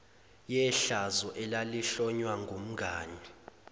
yehlazo elalihlonywa kumngani